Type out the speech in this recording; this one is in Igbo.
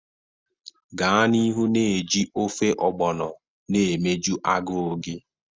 Gaa n'ihu na-eji ofe ogbono na emeju agụụ gị.